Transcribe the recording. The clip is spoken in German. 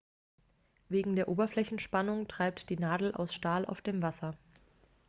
wegen der oberflächenspannung treibt die nadel aus stahl auf dem wasser